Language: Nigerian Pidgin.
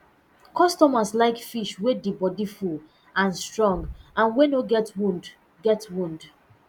customers like fish wey di bodi full and strong and wey no get wound get wound